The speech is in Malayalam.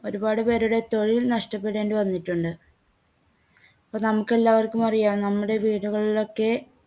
ഒരുപാട്പേരുടെ തൊഴിൽ നഷ്ടപ്പെടേണ്ടി വന്നിട്ടുണ്ട്. അപ്പോ നമുക്കെല്ലാവർക്കും അറിയാം നമ്മുടെ വീടുകളിലൊക്കെ